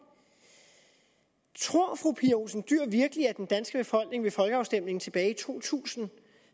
tror fru pia olsen dyhr virkelig at den danske befolkning ved folkeafstemningen tilbage i to tusind